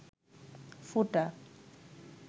ফুটা